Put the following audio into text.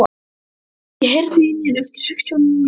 Hedí, heyrðu í mér eftir sextíu og níu mínútur.